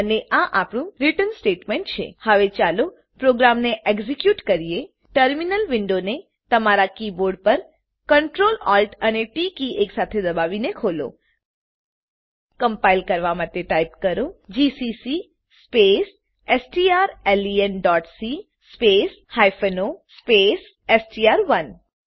અને આ આપણું રીટર્ન સ્ટેટમેંટ છે હવે ચાલો પ્રોગ્રામને એક્ઝીક્યુટ કરીએ ટર્મિનલ વિન્ડોને તમારા કીબોર્ડ પર Ctrl Alt અને ટી કી એકસાથે દબાવી ખોલો કમ્પાઈલ કરવાં માટે ટાઈપ કરો જીસીસી સ્પેસ strlenસી સ્પેસ o સ્પેસ એસટીઆર1